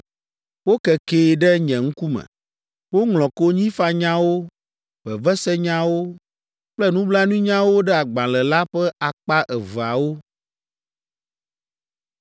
Wokekee ɖe nye ŋkume. Woŋlɔ konyifanyawo, vevesenyawo kple nublanuinyawo ɖe agbalẽ la ƒe akpa eveawo.